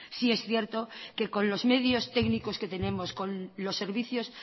sí es cierto que con los medios técnicos que tenemos con los servicios